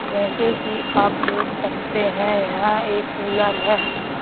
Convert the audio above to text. जैसे कि आप देख सकते हैं यहां एक कूलर है।